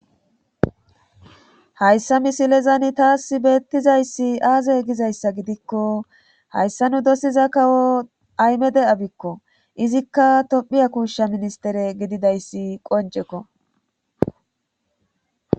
Hayssa misilezan taassi beettizayssi aaze gizayssa gidikko hayssa nu dosiza kawo ahimeda abikko izikka tophiya kuusha ministtire gididayssi qoncceko.